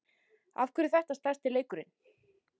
Af hverju er þetta stærsti leikurinn?